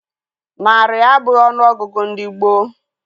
Narị abụghị ọnụọgụ ndị gboo